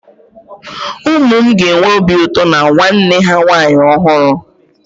Ụmụ m ga-enwe obi ụtọ na nwanne ha nwaanyị ọhụrụ